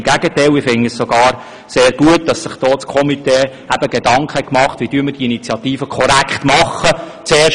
Im Gegenteil: Ich finde es sogar sehr gut, dass sich das Komitee Gedanken darüber gemacht hat, wie man die Initiative korrekt formulieren sollte.